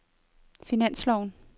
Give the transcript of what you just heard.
finansloven